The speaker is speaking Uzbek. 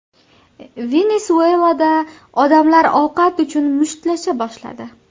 Venesuelada odamlar ovqat uchun mushtlasha boshladi .